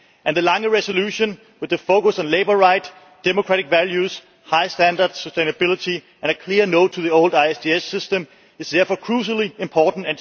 The Lange resolution, with its focus on labour rights, democratic values, high standards, sustainability and a clear no' to the old ISDS system, is crucially important.